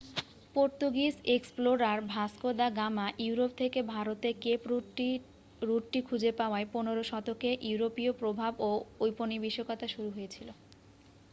Portuguese explorer Vasco da Gama Europe থেকে ভারতে cape রুটটি খুঁজে পাওয়ায় 15 শতকে ইউরোপীয় প্রভাব ও ঔপনিবেশিকতা শুরু হয়েছিল